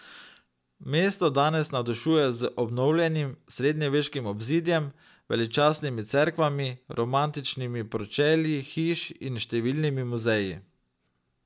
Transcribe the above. Mesto danes navdušuje z obnovljenim srednjeveškim obzidjem, veličastnimi cerkvami, romantičnimi pročelji hiš in številnimi muzeji.